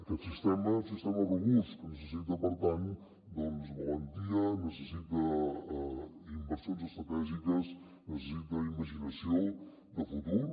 aquest sistema és un sistema robust que necessita per tant valentia necessita inversions estratègiques necessita imaginació de futur